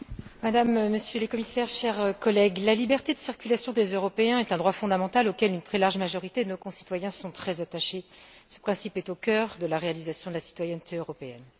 Monsieur le Président, Madame et Monsieur les Commissaires, chers collègues, la liberté de circulation des Européens est un droit fondamental auquel une très large majorité de nos concitoyens sont très attachés. Ce principe est au cœur de la réalisation de la citoyenneté européenne.